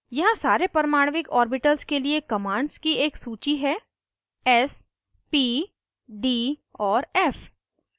यहाँ सारे परमाणविक ऑर्बिटल्स के लिए commands की एक सूची है s p d और f